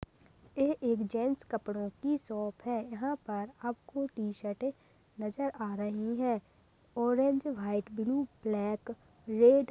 ए- एक जेंट्स कपड़ों की शॉप है यहाँ पर आपको टी- शर्ट्स नजर आ रही है orange white blue black red --